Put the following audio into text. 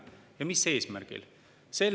Ja mis eesmärgil?